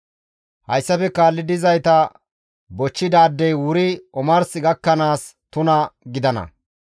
« ‹Hayssafe kaalli dizayta bochchidaadey wuri omars gakkanaas tuna gidana.